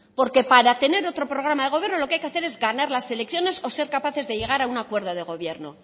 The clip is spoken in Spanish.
porque para tener otro programa de gobierno lo que hay es ganar las elecciones o ser capaces de llegar a un acuerdo de gobierno